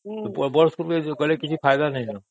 ବଡ଼ ବଡ଼ ସ୍କୁଲ ଯିବୁ ମାନେ କିଛି ଫାଇଦା ନାହିଁ